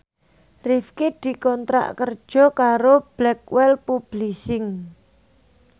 Rifqi dikontrak kerja karo Blackwell Publishing